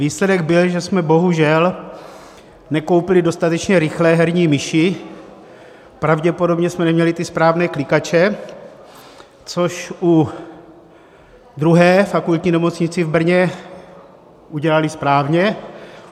Výsledek byl, že jsme bohužel nekoupili dostatečně rychle herní myši, pravděpodobně jsme neměli ty správné klikače, což u druhé - Fakultní nemocnice v Brně - udělali správně.